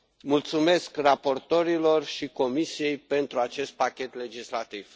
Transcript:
Mulțumesc raporturilor și Comisiei pentru acest pachet legislativ.